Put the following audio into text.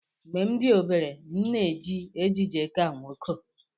Mgbe m dị obere, m na-eji ejiji ka nwoke